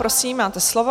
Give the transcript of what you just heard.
Prosím, máte slovo.